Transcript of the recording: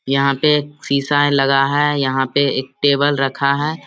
यहाँ पे एक शिशा है लगा है यहाँ पे एक टेबल रखा है।